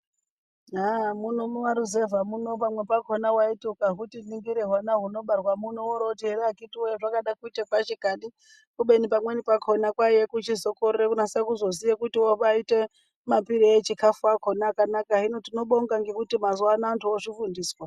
Haa muno mumaruzevha muno pamwepakona vaiti ukahuti ningire hwana hunobarwa muno oro voti ere akhiti voye unoda kuita kwashi kani. Kubeni pamweni kwakona kwaiye kuchizokorera kuchizonase kuzoziya kuti unobaite mapire echikafu akona akanaka. Hino tinobonga ngekuti antu mazuva ano vozvifundiswa.